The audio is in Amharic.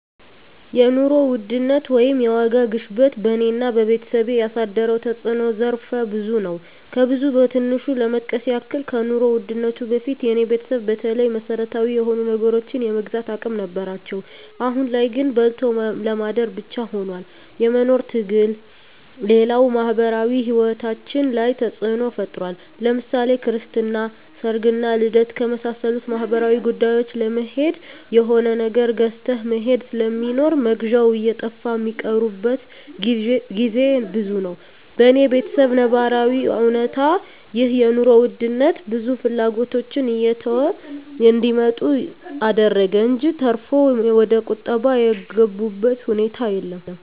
የኑሮ ውድነት ወይም የዋጋ ግሽበት በኔና በቤተሰቤ ያሳደረው ተጽኖ ዘርፈ ብዙ ነው። ከብዙ በትንሹ ለመጥቀስ ያክል ከኑሮ ውድነቱ በፊት የኔ ቤተሰብ በተለይ መሰረታዊ የሆኑ ነገሮችን የመግዛት አቅም ነበራቸው አሁን ላይ ግን በልቶ ለማደር ብቻ ሁኗል የመኖር ትግሉ፣ ሌላው ማህበራዊ ሂወታችን ላይ ተጽኖ ፈጥሯል ለምሳሌ ክርስትና፣ ሰርግና ልደት ከመሳሰሉት ማህበራዊ ጉዳዮች ለመሄድ የሆነ ነገር ገዝተህ መሄድ ስለሚኖር መግዣው እየጠፋ ሚቀሩበት ግዜ ብዙ ነው። በኔ በተሰብ ነባራዊ እውነታ ይህ የኑሮ ውድነት ብዙ ፍላጎቶችን እየተው እንዲመጡ አደረገ እንጅ ተርፎ ወደቁጠባ የገቡበት ሁኔታ የለም።